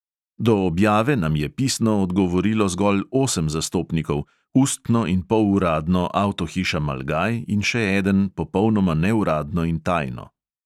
Do objave nam je pisno odgovorilo zgolj osem zastopnikov, ustno in poluradno avtohiša malgaj in še eden popolnoma neuradno in tajno.